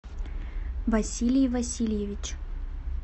василий васильевич